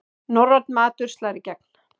Norrænn matur slær í gegn